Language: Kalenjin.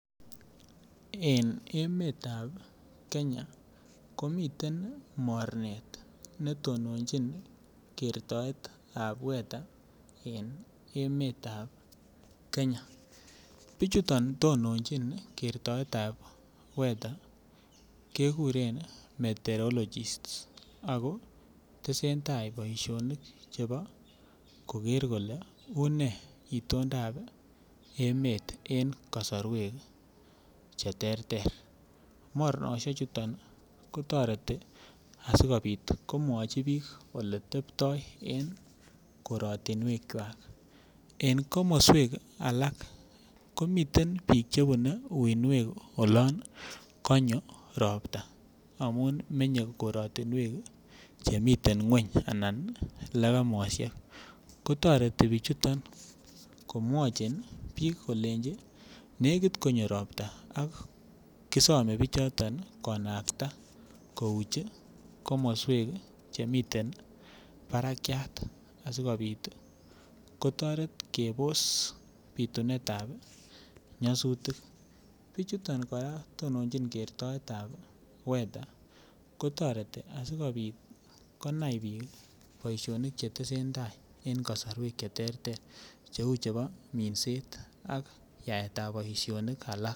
En emetab Kenya komiten mornet ne toninyin ng'alekab weather en emetab Kenya bichuton tonojin keretab weather ko keguren meteorologist ako tesentai boisionik chebo Koger Kole unee itondap emet en komoswek Che terter yoe kouu niton asi komwochi biik ole tepto en korotinwekwak en komoswek alak komiten biik Che bunee uinwek olon konyo ropta amun menye miten ngweny anan legemoshek ko toreti bichuton komwochin biik kolenji nekit konyo ropta ak kisome bichoton konakta kouch komoswek Che miten barakyat asikopit kebos bitunetab nyasutik, bichuton koraa ko tonochin kertoetab weather kotoreti asikopit konai biik boishonik Che tesentai en kosorwek Che terter Che uu chebo minset ak yaetab boisionik alak